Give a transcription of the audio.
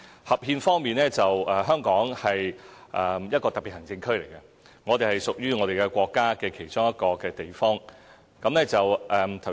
合憲方面，香港是一個特別行政區，我們屬於國家其中一個地方。